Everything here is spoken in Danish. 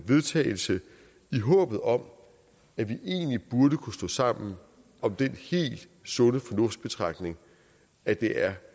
vedtagelse i håbet om at vi egentlig burde kunne stå sammen om den sunde fornuft betragtning at det er